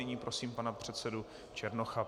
Nyní prosím pana předsedu Černocha.